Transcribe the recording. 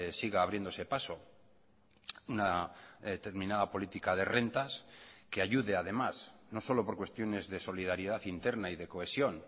siga abriéndose paso una determinada política de rentas que ayude además no solo por cuestiones de solidaridad interna y de cohesión